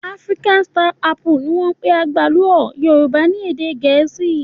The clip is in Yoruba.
Africa star apple ni wọ́n ń pè àgbálù ọ́ Yorùbá ní èdè Gẹ̀ẹ́sì.